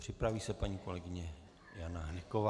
Připraví se paní kolegyně Jana Hnyková.